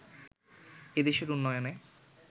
এ দেশের উন্নয়নে